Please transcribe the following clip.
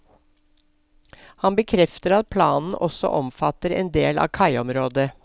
Han bekrefter at planen også omfatter en del av kaiområdet.